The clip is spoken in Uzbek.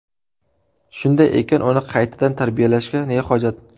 Shunday ekan, uni qaytadan tarbiyalashga ne hojat?